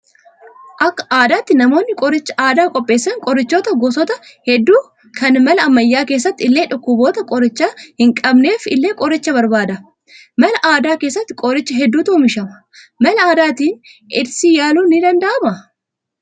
Akka aadaatti namoonni qoricha aadaa qopheessan qorichoota gosoota hedduu kan mala ammayyaa keessatti illee dhukkuboota qoricha hin qabneef illee qoricha barbaada. Mala aadaa keessatti qoricha hedduutu oomishama. Mala aadaatiin eedsii yaaluun ni danda'amaa?